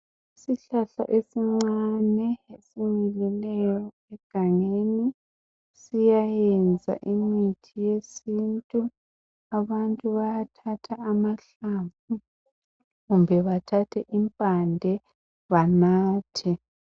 Isihlahla esincane esimilileyo egangeni siyayenza imithi yesintu. Abantu bayathatha amahlamvu kumbe bathathe impande banathe.